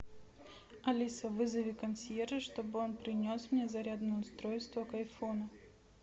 алиса вызови консьержа что бы он принес мне зарядное устройство к айфону